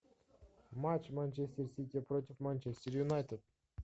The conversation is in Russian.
матч манчестер сити против манчестер юнайтед